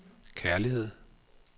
kærlighed